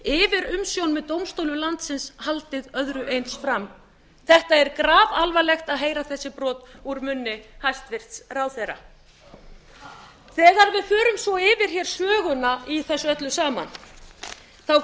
yfirumsjón með dómstólum landsins haldið öðru eins fram þetta er grafalvarlegt að heyra þessi brot úr munni hæstvirtur ráðherra þegar við förum svo yfir söguna í þessu öllu saman